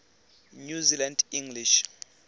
new zealand english